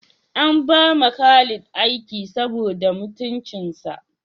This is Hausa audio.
An ba ma Khalid aiki saboda mutuncinsa